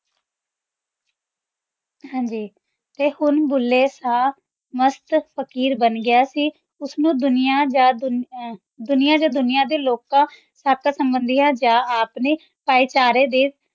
ਹਾਂਜੀ ਤੇ ਹੁਣ ਭੁੱਲੇ ਸ਼ਾਹ ਮਾਸਟ ਫ਼ਕੀਰ ਬਣ ਗਯਾ ਸੀ ਓਸਨੂ ਦੁਨਿਆ ਯਾਨ ਦੁਨਿਆ ਦੁਨਿਆ ਯਾਨ ਦੁਨਿਆ ਦੇ ਲੋਕਾਂ ਕਾਖ ਸੰਭ੍ਨ੍ਦ੍ਯਾ ਯਾਨ ਅਪਨੇ ਭਾਈ ਚਾਰੇ ਦੇ